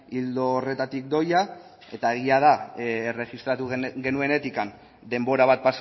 ildo horretatik doia eta egia da erregistratu genuenetik denbora bat